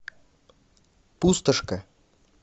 пустошка